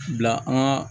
Bila an ka